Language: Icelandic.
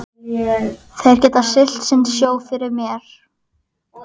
Þeir geta siglt sinn sjó fyrir mér.